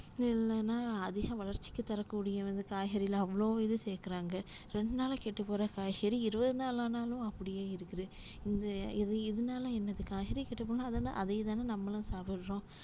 இல்லனா அதிக வளர்ச்சிகள் தரக்கூடிய வந்து காய்கறில அவ்ளோ இது சேக்குறாங்க ரெண்டுநாள்ல கெட்டுப்போகுற காய்கறி இருவதுநாள் ஆனாலும் அப்டியே இருக்குது இந்த இது இதுனால என்னா காய்கறி கெட்டுப்போனா அதுல அதேதானே நம்மளும் சாப்புட்றோம்